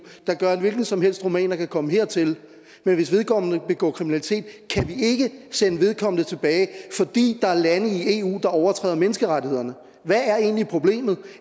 der gør at en hvilken som helt rumæner kan komme hertil men hvis vedkommende begår kriminalitet kan vi ikke sende vedkommende tilbage fordi der er lande i eu der overtræder menneskerettighederne hvad er egentlig problemet